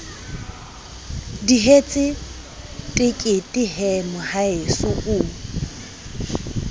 dihetse tekete he mohaeso o